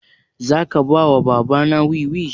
Za ka ba wa baba na wiwi?